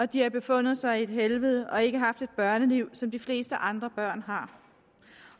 de har befundet sig i et helvede og ikke haft et børneliv som de fleste andre børn har